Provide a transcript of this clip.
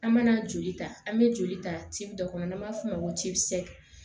An mana joli ta an bɛ joli ta ci dɔ kɔnɔ n'an b'a f'o ma ko